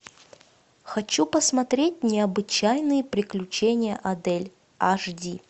хочу посмотреть необычайные приключения адель аш ди